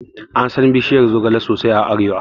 Ansan bishiyar zogala sosai a arewa